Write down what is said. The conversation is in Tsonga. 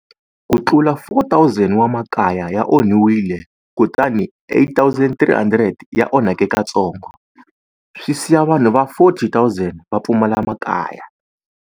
Ku tlula 4 000 wa makaya ya onhiwile kutani 8 300 ya onheke katsongo, swi siya vanhu va 40 000 va pfumala makaya.